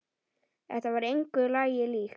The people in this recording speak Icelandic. Þetta var engu lagi líkt.